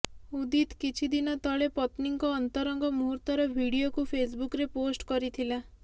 ଉଦିତ୍ କିଛିଦିନ ତଳେ ପତ୍ନୀଙ୍କ ଅନ୍ତରଙ୍ଗ ମୁହୂର୍ତ୍ତର ଭିଡିଓକୁ ଫେସ୍ବୁକ୍ରେ ପୋଷ୍ଟ କରିଥିଲା